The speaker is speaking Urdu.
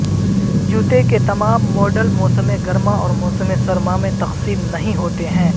جوتے کے تمام ماڈل موسم گرما اور موسم سرما میں تقسیم نہیں ہوتے ہیں